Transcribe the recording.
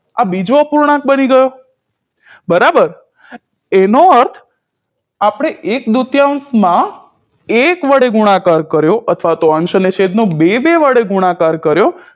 આ બીજો અપૂર્ણાંક બની ગયો બરાબર એનો અર્થ આપણે એક દૂતયાંશમાં એક વડે ગુણાકાર કર્યો અથવા તો અંશ અને છેદનો બે બે વડે ગુણાકાર કર્યો